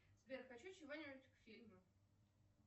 сбер хочу чего нибудь к фильму